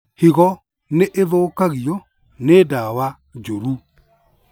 Higo nĩĩthũkagio nĩ ndawa njũru